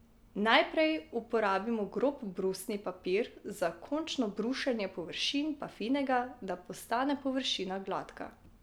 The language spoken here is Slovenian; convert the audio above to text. Najprej uporabimo grob brusni papir, za končno brušenje površine pa finega, da postane površina gladka.